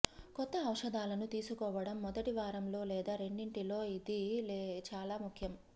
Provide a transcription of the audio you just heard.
కొత్త ఔషధాలను తీసుకోవడం మొదటి వారంలో లేదా రెండింటిలో ఇది చాలా ముఖ్యం